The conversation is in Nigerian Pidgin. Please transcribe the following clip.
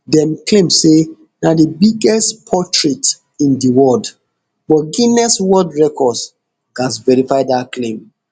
dem claim say na di biggest portrait in di world but guiness world records gatz verify dat claim